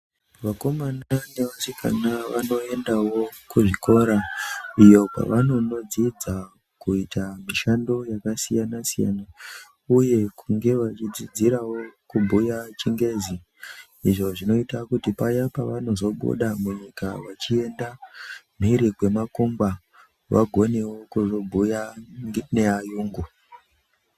Vakomana nevasikana vanoendawo kuzvikora iyo kwavanonodzidza kuita mishando yakasiyana-siyana uye kunge vachidzidzirawo kubhuya ChiNgezi, Izvo zvinoita kuti paya pavanozobuda munyika vachienda mhiri kwemakungwa vagonewo kuzobhuya neayungu.